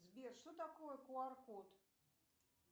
сбер что такое ку ар код